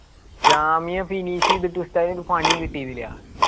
Jamia finish എയ്തിട്ടു ഉസ്താദിന് പണി കിട്ടിയിരുന്നില്ല